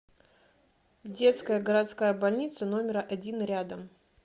детская городская больница номер один рядом